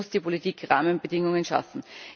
Hier muss die Politik die Rahmenbedingungen schaffen.